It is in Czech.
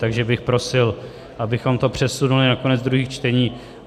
Takže bych prosil, abychom to přesunuli na konec druhých čtení.